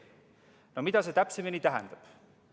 No mida see täpsemalt tähendab?